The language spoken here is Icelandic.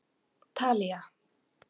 Talía